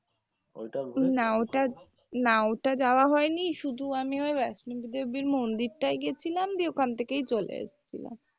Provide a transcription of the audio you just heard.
ওটা না ওটা যাওয়া হয়নি শুধু আমি ওই বৈষ্ণব দেবীর মন্দির টায় গিয়েছিলাম দিয়ে ওখান থেকে চলে এসছিলাম।